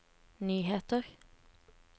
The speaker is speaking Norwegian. nyheter